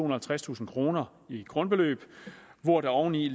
og halvtredstusind kroner i grundbeløb hvor der oveni